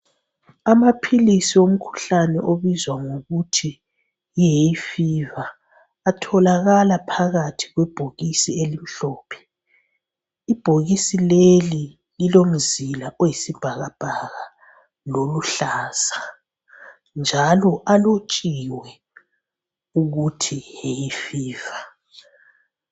Amaphilisi omkhuhlane obizwa ngokuthi yihayfever atholakala phakathi kwebhokisi elimhlophe. Ibhokisi leli lilomzila oyisibhakabhaka loluhlaza njalo alotshiwe ukuthi hayfever.